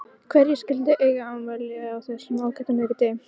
Hverjir skyldu eiga afmæli á þessum ágæta miðvikudegi?